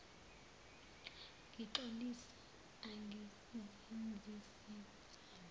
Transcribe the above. ngixolisa angizenzisi kumama